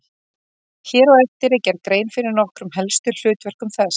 Hér á eftir er gerð grein fyrir nokkrum helstu hlutverkum þess.